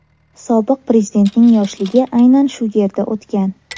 Sobiq prezidentning yoshligi aynan shu yerda o‘tgan.